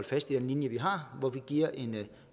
fast i den linje vi har hvor vi giver en